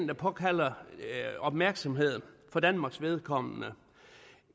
der påkalder sig opmærksomhed for danmarks vedkommende